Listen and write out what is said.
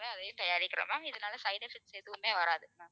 அதையும் தயாரிக்கிறோம் ma'am இதனால side effects எதுவுமே வராது ma'am